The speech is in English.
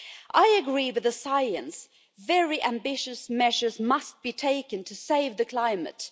I agree with the science that very ambitious measures must be taken to save the climate.